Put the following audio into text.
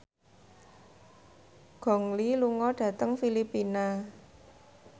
Gong Li lunga dhateng Filipina